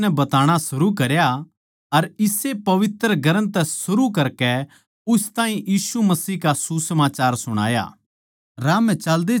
फेर फिलिप्पुस नै बताणा शुरू करया अर इस्से पवित्र ग्रन्थ तै शुरू करकै उस ताहीं यीशु का सुसमाचार सुणाया